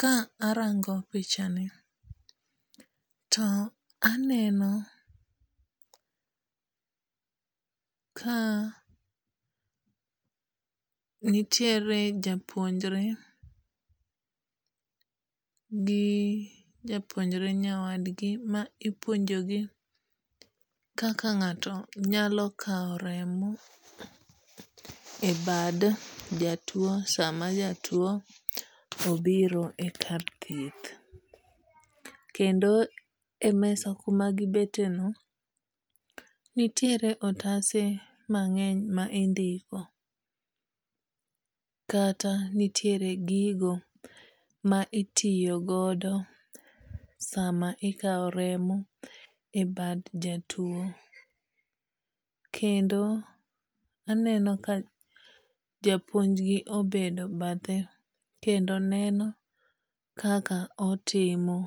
Ka arango picha ni, to aneno ka nitiere japuonjre gi japuonjre nyawadgi ma ipuonjogi kaka ng'ato nyalokawo remo e bad jatuo sama jatuo obiro e kar thieth kendo e mesa kuma gibete ni nitiere otase mang'eny ma indiko kata nitiere gigo ma itiyo godo sama ikawo remo ebad jatuo. Kendo aneno ka japuonj gi obedo bathe kendo neno kaka otimo.